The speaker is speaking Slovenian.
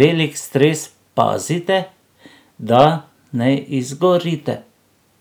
velik stres, pazite, da ne izgorite.